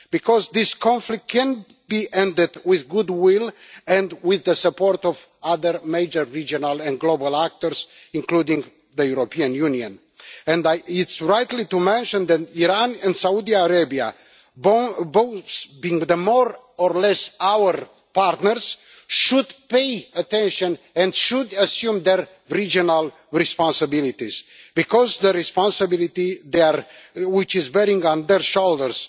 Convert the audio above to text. Because this conflict can be ended with goodwill and with the support of other major regional and global actors, including the European Union, and it's right to mention that Iran and Saudi Arabia both being more or less our partners should pay attention and should assume their regional responsibilities, because the responsibility there is bearing on their shoulders.